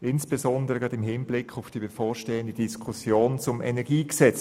Dies insbesondere im Hinblick auf die bevorstehende Diskussion über das Kantonale Energiegesetz.